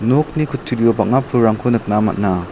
nokni kutturio bang·a pulrangko nikna man·a.